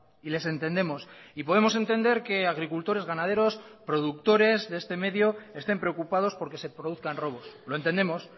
y les entendemos y podemos entender que agricultores ganaderos productores de este medio estén preocupados porque se produzcan robos lo entendemos